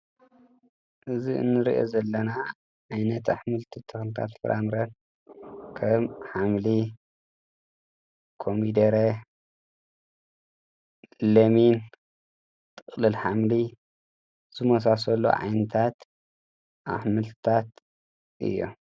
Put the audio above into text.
እዚ እንሪኦ ዘለና ዓይነት ኣሕምልቲ ተኽልታት ፍራምረ ከም ሓምሊ፣ ኮሚደረ፣ ለሚን፣ ጥቅልል ሓምሊ ዝመሳሰሉ ዓይነታት ኣሕምልታት እዮም።